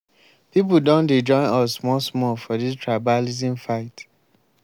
pipu don dey join us small small for dis tribalism fight.